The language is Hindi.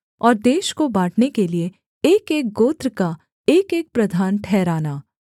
और देश को बाँटने के लिये एकएक गोत्र का एकएक प्रधान ठहराना